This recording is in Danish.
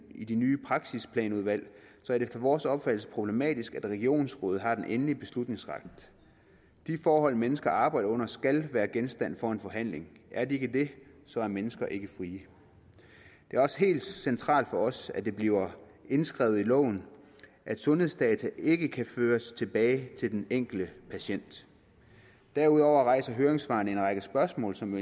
i de nye praksisplanudvalg så er det efter vores opfattelse problematisk at regionsrådet har den endelige beslutningsret de forhold mennesker arbejder under skal være genstand for en forhandling er de ikke det så er mennesker ikke frie det er også helt centralt for os at det bliver indskrevet i loven at sundhedsdata ikke kan føres tilbage til den enkelte patient derudover rejser høringssvarene en række spørgsmål som